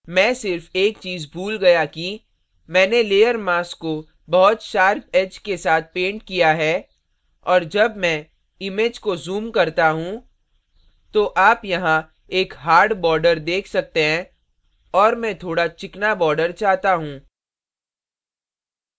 मैं सिर्फ एक चीज़ भूल गया कि मैंने layer mask को बहुत sharp edge के साथ painted किया है और जब मैं image को zoom करता हूँ तो आप यहाँ एक hard hard border देख सकते हैं और मैं थोड़ा चिकना border चाहता हूँ